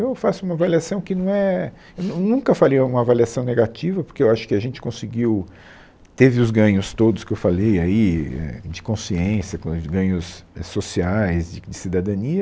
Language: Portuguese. Eu faço uma avaliação que não é, eu nun nunca faria uma avaliação negativa, porque eu acho que a gente conseguiu, teve os ganhos todos que eu falei aí, é, de consciência, coiso, de ganhos é sociais, de de cidadania.